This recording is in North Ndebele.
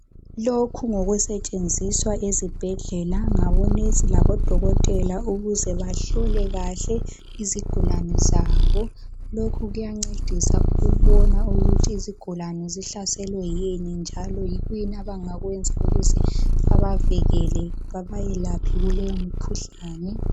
Lokhu ngokusetshenziswa ezibhedlela ngabonesi labodokotela ukuze bahlole kahle izigulane zabo. Lokhu kuyancedisa ukubona ukuthi izigulane zihlaselwe yini njalo yikuyini abangakwenza ukuze babavikele babayelaphe kuleyo mikhuhlane.